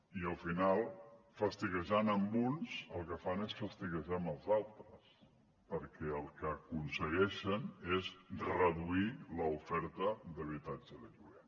i al final fastiguejant ne uns el que fan és fastiguejar els altres perquè el que aconsegueixen és reduir l’oferta d’habitatge de lloguer